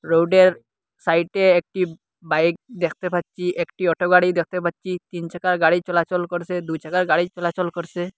রোডের সাইটে একটি বাইক দেখতে পাচ্ছি একটি অটো গাড়ি দেখতে পাচ্ছি তিন চাকার গাড়ি চলাচল করসে দুই চাকার গাড়ি চলাচল করসে।